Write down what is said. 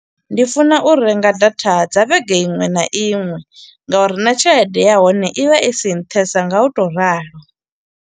Ndi funa u renga data dza vhege iṅwe na iṅwe, ngauri na tshelede ya hone i vha i si nṱhesa nga u to ralo.